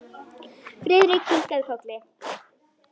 Friðrik kinkaði kolli.